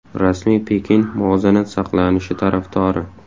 Rasmiy Pekin muvozanat saqlanishi tarafdori.